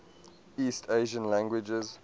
east asian languages